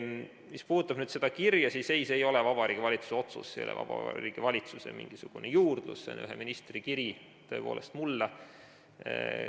Mis puudutab seda kirja, siis ei, see ei ole Vabariigi Valitsuse otsus, see ei ole Vabariigi Valitsuse mingisugune juurdlus, see on ühe ministri kiri mulle.